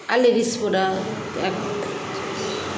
আর ladies product এক